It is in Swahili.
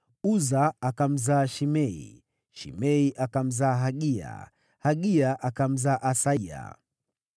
Uza akamzaa Shimea, Shimea akamzaa Hagia, Hagia akamzaa Asaya.